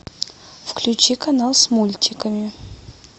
включи канал с мультиками